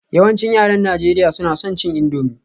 Yawancin yaran Najeriya suna son cin indomie